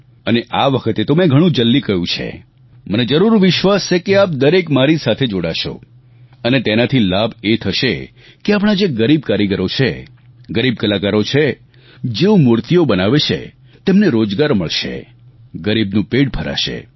અને આ વખતે તો મેં ઘણું જલ્દી કહ્યું છે મને જરૂર વિશ્વાસ છે કે આપ દરેક મારી સાથે જોડાશો અને તેનાથી લાભ એ થશે કે આપણા જે ગરીબ કારીગરો છે ગરીબ કલાકારો છે જેઓ મૂર્તિઓ બનાવે છે તેમને રોજગાર મળશે ગરીબનું પેટ ભરાશે